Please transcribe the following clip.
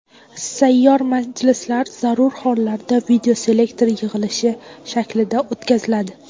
Sayyor majlislar zarur hollarda videoselektor yig‘ilishi shaklida o‘tkaziladi.